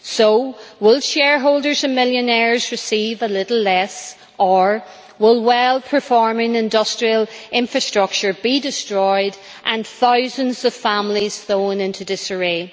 So, will shareholders and millionaires receive a little less, or will well performing industrial infrastructure be destroyed and thousands of families thrown into disarray?